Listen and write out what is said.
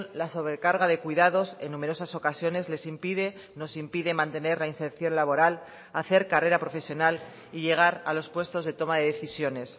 la sobrecarga de cuidados en numerosas ocasiones les impide nos impide mantener la inserción laboral hacer carrera profesional y llegar a los puestos de toma de decisiones